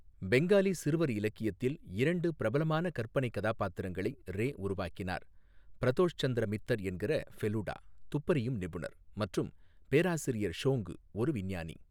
பெங்காலி சிறுவர் இலக்கியத்தில் இரண்டு பிரபலமான கற்பனை கதாபாத்திரங்களை ரே உருவாக்கினார் பிரதோஷ் சந்திர மித்தர் என்கிற ஃபெலுடா, துப்பறியும் நிபுணர், மற்றும் பேராசிரியர் ஷோங்கு, ஒரு விஞ்ஞானி.